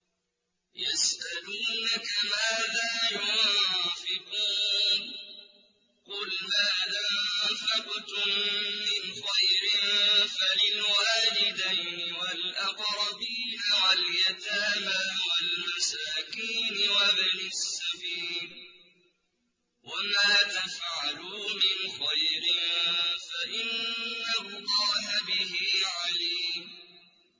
يَسْأَلُونَكَ مَاذَا يُنفِقُونَ ۖ قُلْ مَا أَنفَقْتُم مِّنْ خَيْرٍ فَلِلْوَالِدَيْنِ وَالْأَقْرَبِينَ وَالْيَتَامَىٰ وَالْمَسَاكِينِ وَابْنِ السَّبِيلِ ۗ وَمَا تَفْعَلُوا مِنْ خَيْرٍ فَإِنَّ اللَّهَ بِهِ عَلِيمٌ